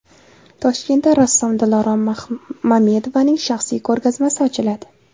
Toshkentda rassom Dilorom Mamedovaning shaxsiy ko‘rgazmasi ochiladi.